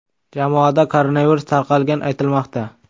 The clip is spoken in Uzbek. Jamoada koronavirus tarqalgani aytilmoqda.